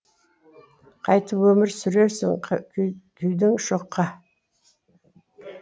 қайтіп өмір сүрерсің күйдің шоққа